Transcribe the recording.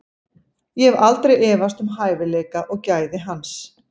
Ég hef aldrei efast um hæfileika og gæði hans.